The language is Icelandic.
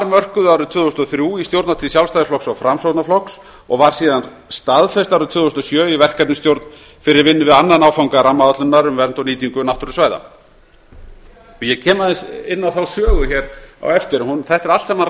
mörkuð árið tvö þúsund og þrjú í stjórnartíð sjálfstæðisflokks og framsóknarflokk ég var síðan staðfest árið tvö þúsund og sjö í verkefnisstjórn fyrir vinnu við annan áfanga rammaáætlunar um vernd og nýtingu náttúrusvæða ég kem aðeins inn á þá sögu á eftir þetta er allt saman